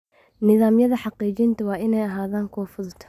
Nidaamyada xaqiijinta waa inay ahaadaan kuwo fudud.